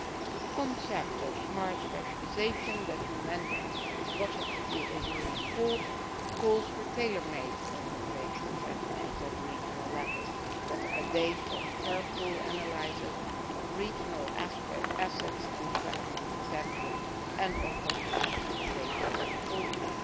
The concept of Smart Specialisation, which Mr Geier mentions positively in his report, calls for tailor made innovation strategies at regional level which are based on careful analyses of regional assets and development potential, and on comprehensive stakeholder involvement.